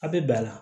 A bɛ bɛn a la